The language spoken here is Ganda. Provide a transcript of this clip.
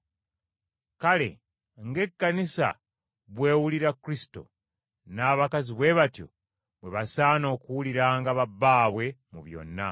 Kale ng’Ekkanisa bw’ewulira Kristo, n’abakazi bwe batyo bwe basaana okuwuliranga ba bbaabwe mu byonna.